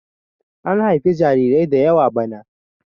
an haifi jarirai da yawa bana!